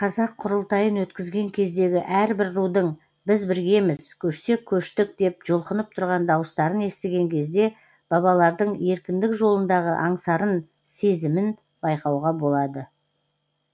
қазақ құрылтайын өткізген кездегі әрбір рудың біз біргеміз көшсек көштік деп жұлқынып тұрған дауыстарын естіген кезде бабалардың еркіндік жолындағы аңсарын сезімін байқауға болады